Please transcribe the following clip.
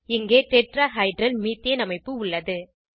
இங்கே tetrahedral methane அமைப்பு உள்ளது